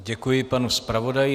Děkuji panu zpravodaji.